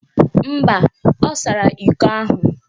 Mba, ọ sara iko ahụ